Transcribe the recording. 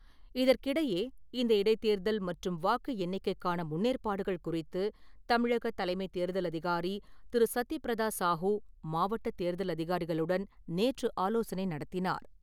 இதற்கிடையே , இந்த இடைத்தேர்தல் மற்றும் வாக்கு எண்ணிக்கைக்கான முன்னேற்பாடுகள் குறித்து தமிழக தலைமைத் தேர்தல் அதிகாரி திரு. சத்தியபிரதா சாஹூ, மாவட்ட தேர்தல் அதிகாரிகளுடன் நேற்று ஆலோசனை நடத்தினார் .